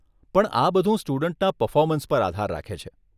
પણ આ બધુ સ્ટુડન્ટના પરફોર્મન્સ પર આધાર રાખે છે.